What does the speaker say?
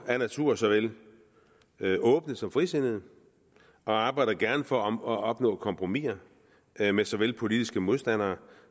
af natur såvel åbne som frisindede og arbejder gerne for at opnå kompromiser med med såvel politiske modstandere